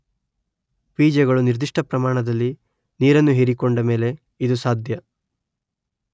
ಬೀಜಗಳು ನಿರ್ದಿಷ್ಟ ಪ್ರಮಾಣದಲ್ಲಿ ನೀರನ್ನು ಹೀರಿಕೊಂಡ ಮೇಲೇ ಇದು ಸಾಧ್ಯ.